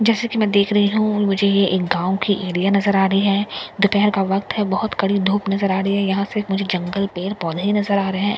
जैसे कि मैं देख रही हूं और मुझे यह एक गांव की एरिया नजर आ रही है दोपहर का वक्त है बहुत कड़ी धूप नजर आ रही है यहां से मुझे जंगल पेड़ पौधे नजर आ रहे है भर--